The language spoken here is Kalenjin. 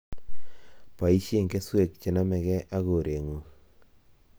Boisie keswek che nomegei ak koreng'ung